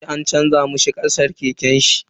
Kanina yaje an canza mishi kashar keken shi.